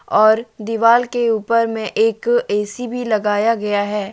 और दीवाल के ऊपर में एक ए_सी भी लगाया गया है।